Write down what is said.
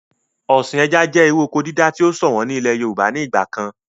Ọ̀sìn ẹja jẹ́ irú oko dídá tí o ṣọ̀wọ̀n ní ilẹ̀ yorùbá ní ìgbà kan